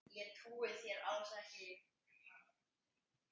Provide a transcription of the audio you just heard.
Ég trúi þér alls ekki!